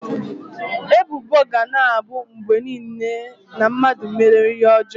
Ebubo ga na-abụ mgbe niile na mmadụ mere ihe ọjọọ.